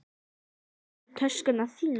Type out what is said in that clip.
Viltu ekki fá töskuna þína?